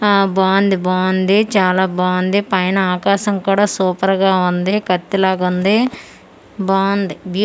ఆ బావుంది బావుంది చాలా బావుంది పైన ఆకాశం కూడా సూపర్ గా వుంది కత్తిలాగుంది బావుంది బీ--